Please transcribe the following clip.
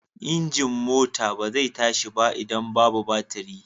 Injin mota ba zai tashi ba idan babu batiri.